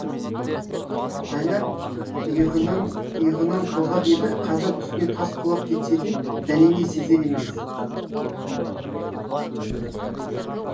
жайлап иығынан иығынан қозғап еді қазір үстіне тас құлап кетсе де дәнеңе сезер емес